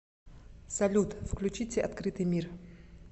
салют включите открытый мир